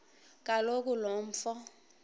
kaloku lo mfo